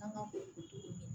An ka ko don